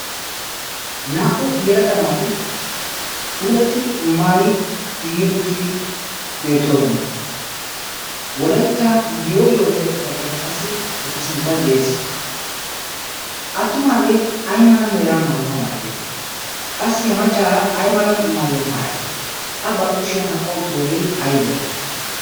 naa'u yelaga naati puulatti maayi giigi uttidi beettoosona. wolaitta yoo yoo giyaa xifaateeka qassi eta sinttan de; ees attumaagee ay mala meraa maayuwaa maiddee qassi ha maccaara ay mala maayuwaa maayaree a barkkushiyaa aphpha utturoogee aybe?